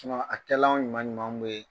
a kɛlanw ɲuman ɲumanw bɛ yen